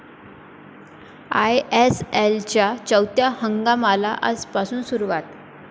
आयएसएलच्या चौथ्या हंगामाला आजपासून सुरुवात